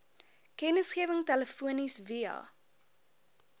kennisgewing telefonies via